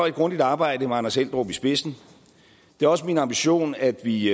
et grundigt arbejde med anders eldrup i spidsen det er også min ambition at vi